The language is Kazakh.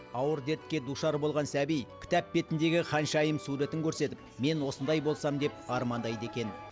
ауыр дертке душар болған сәби кітап бетіндегі ханшайым суретін көрсетіп мен осындай болсам деп армандайды екен